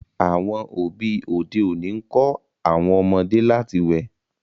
àwọn òbí òde òni nkọ àwọn ọmọdé láti wẹ